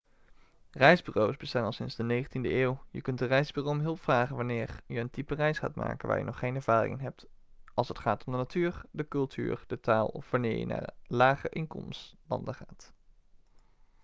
reisbureaus bestaan al sinds de 19e eeuw je kunt een reisbureau om hulp vragen wanneer je een type reis gaat maken waar je nog geen ervaring in hebt als het gaat om de natuur de cultuur de taal of wanneer je naar lage-inkomenslanden gaat